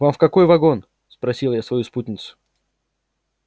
вам в какой вагон спросил я свою спутницу